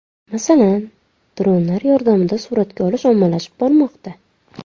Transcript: Masalan, dronlar yordamida suratga olish ommalashib bormoqda.